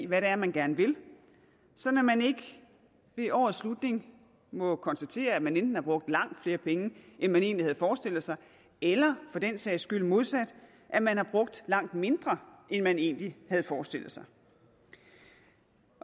hvad det er man gerne vil sådan at man ikke ved årets slutning må konstatere at man enten har brugt langt flere penge end man egentlig havde forestillet sig eller for den sags skyld modsat at man har brugt langt mindre end man egentlig havde forestillet sig